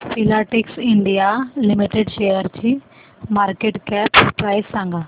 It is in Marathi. फिलाटेक्स इंडिया लिमिटेड शेअरची मार्केट कॅप प्राइस सांगा